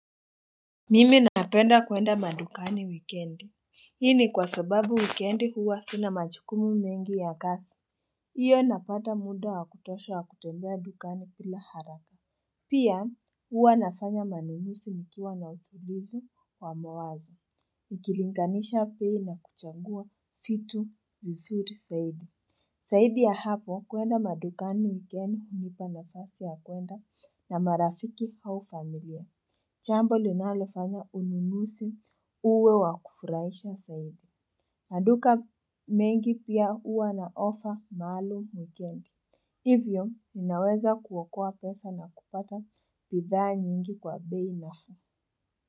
Mimi napenda kwenda madukani wikendi. Hii ni kwa sababu wikendi huwa sina majukumu mengi ya kazi. Hiyo napata muda wa kutosha wa kutembea dukani bila haraka. Pia huwa nafanya manunuzi nkiwa na utulivu wa mawazo. Nikilinganisha bei na kuchagua vitu vizuri zaidi. Zaidi ya hapo kwenda madukani wikendi hunipa nafasi ya kwenda na marafiki au familia. Jambo linalofanya ununuzi uwe wa kufurahisha zaidi. Maduka mengi pia huwa na ofa maalum wikendi. Hivyo ninaweza kuokoa pesa na kupata bidhaa nyingi kwa bei nafuu.